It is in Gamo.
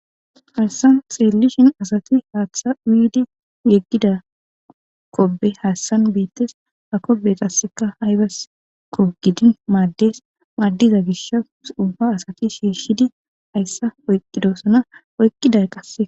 hassan xirelishin asati haaththa widi yeggida kobe haassan biittes ha kobe tasseka haybaskko gidin maaddes maaddiza gisha uba asati shiishidi hayssa oyqqidosana oyqqiday qasse